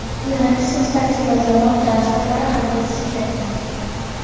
Yo‘nalishsiz taksi va jamoat transportlari harakati cheklangan.